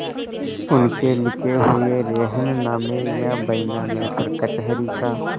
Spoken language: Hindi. उनके लिखे हुए रेहननामे या बैनामे पर कचहरी का